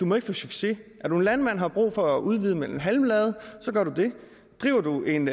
må få succes er du landmand og har brug for at udvide med en halmlade gør du det driver du en